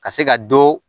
Ka se ka dɔ